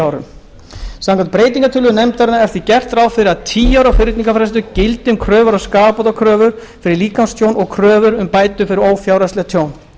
árum samkvæmt breytingartillögu nefndarinnar er því gert ráð fyrir að tíu ára fyrningarfrestur gildi um kröfur um skaðabætur fyrir líkamstjón og kröfur um bætur fyrir ófjárhagslegt tjón